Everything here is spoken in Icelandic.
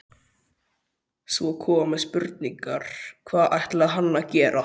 Svo komu spurningarnar: Hvað ætlaði hann að gera?